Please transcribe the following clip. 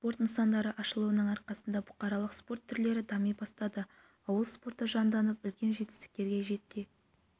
спорт нысандары ашылуының арқасында бұқаралық спорт түрлері дами бастады ауыл спорты жанданып үлкен жетістіктерге жете